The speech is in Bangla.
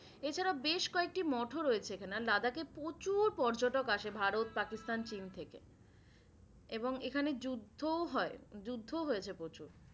এছাড়াও বেশ কয়েকটি মঠও রয়েছে এখানে। আর লাদাখে প্রচুর পর্যটক আসে ভারত, পাকিস্তান, চীন থেকে এবং এখানে যুদ্ধও হয়। যুদ্ধও হয়েছে প্রচুর।